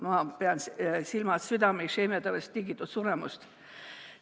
Ma pean silmas südame isheemiatõvest tingitud suremust.